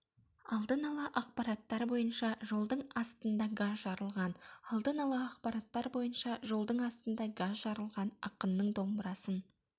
алдын-ала ақпараттар бойынша жолдың астында газ жарылған алдын-ала ақпараттар бойынша жолдың астында газ жарылған ақынның домбырасын